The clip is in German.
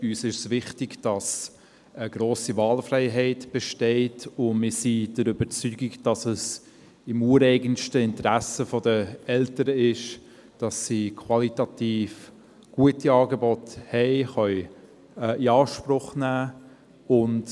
Uns ist es wichtig, dass eine grosse Wahlfreiheit besteht, und wir sind der Überzeugung, dass es im ureigensten Interesse der Eltern ist, dass sie qualitativ gute Angebote in Anspruch nehmen können;